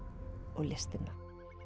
og listina